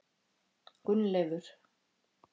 Gunnleifur